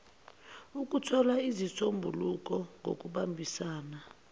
ukuthola izisombululo ngokubambisana